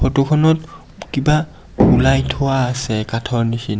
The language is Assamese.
ফটো খনত কিবা ওলাই থোৱা আছে কাঠৰ নিচিনা।